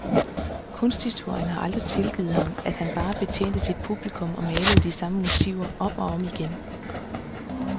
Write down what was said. Kunsthistorien har aldrig tilgivet ham, at han bare betjente sit publikum og malede de samme motiver, om og om igen.